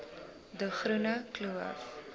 de groene kloof